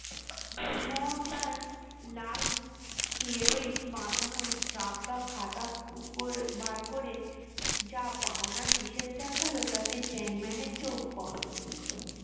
মনমোহন তার লাল খেরোই বাধানো জাব্দা খাতা খুপ্পর বার করে যা পাওনা হিসেব দেখালো তাতে চ্যাংম্যানের চোখ কপালে উঠল